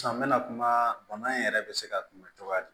Sisan n mɛna kuma bana in yɛrɛ be se ka kunbɛn cogoya di